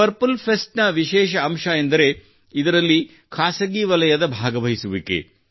purple fest ನ ವಿಶೇಷ ಅಂಶವೆಂದರೆ ಇದರಲ್ಲಿ ಖಾಸಗಿ ವಲಯದ ಭಾಗವಹಿಸುವಿಕೆ